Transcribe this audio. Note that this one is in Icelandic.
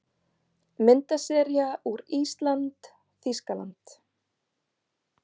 Myndasería úr ÍSLAND- Þýskaland